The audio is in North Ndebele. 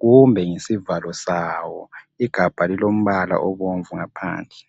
kumbe ngesivalo sawo igabha lilombala obomvu ngaphandle.